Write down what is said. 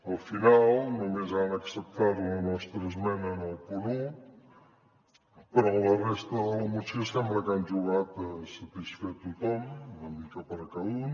al final només han acceptat la nostra esmena en el punt un però en la resta de la moció sembla que han jugat a satisfer tothom una mica per a cada un